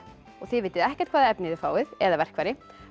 þið vitið ekkert hvaða efni þið fáið eða verkfæri